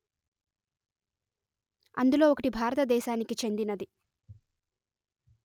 అందులో ఒకటి భారత దేశానికి చెందినది